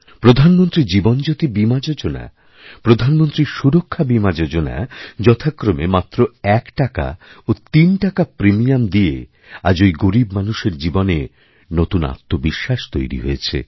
প্রধানমন্ত্রী জীবনজ্যোতি বীমা যোজনাপ্রধানমন্ত্রী সুরক্ষা বীমা যোজনা যথাক্রমে মাত্র একটাকা ও তিন টাকা প্রিমিয়ামদিয়ে আজ ঐ গরীব মানুষের জীবনে নতুন আত্মবিশ্বাস তৈরি হয়েছে